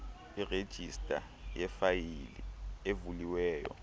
irejista yeefayile evuliweyo